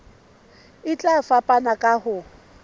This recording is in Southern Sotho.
e tla fapana ka ho